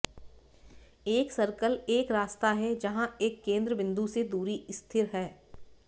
एक सर्कल एक रास्ता है जहां एक केंद्र बिंदु से दूरी स्थिर है